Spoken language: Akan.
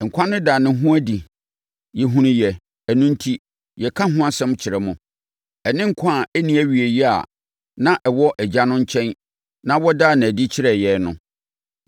Nkwa no daa ne ho adi no, yɛhunuiɛ. Ɛno enti, yɛka ho asɛm kyerɛ mo, ɛne nkwa a ɛnni awieeɛ a na ɛwɔ Agya no nkyɛn na wɔdaa no adi kyerɛɛ yɛn no.